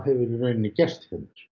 í rauninni gerst hérna